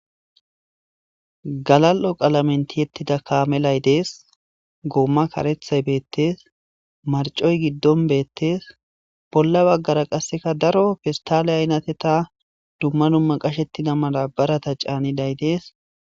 galal7o qalamenti yettida kaame lay dees goomma karethay beettees marcoy giddon beettes bolla baggara qasseka daro fistale aynate ta dumma dumma qashettina malabarata caaniday dees